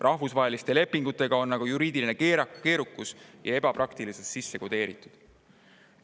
Rahvusvahelistesse lepingutesse on aga juriidiline keerukus ja ebapraktilisus sisse kodeeritud.